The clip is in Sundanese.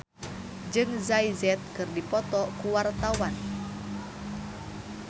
Alvaro Maldini Siregar jeung Jay Z keur dipoto ku wartawan